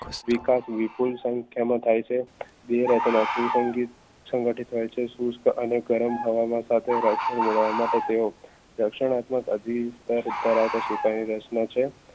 વિકાસ વિપુલ સંખ્યામાં થાય છે સંગઠિત સુસ્ત મને ગરમ રક્ષણ મેળવવા માટે તેઓ રક્ષણાત્મક સુકાકાઈ રચના છે